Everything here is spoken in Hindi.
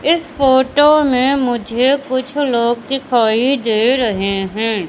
इस फोटो में मुझे कुछ लोग दिखाई दे रहे हैं।